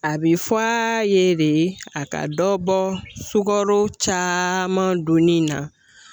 A be fɔ a ye de a ka dɔ bɔ sukaro caaman duni na